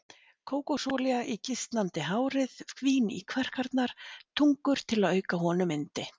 Kókosolía í gisnandi hárið, vín í kverkarnar, tungur til að auka honum yndi.